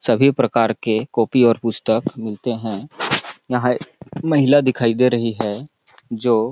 सभी प्रकार के कॉपी और पुस्तक मिलते है यहाँ महिला दिखाई दे रही है जो--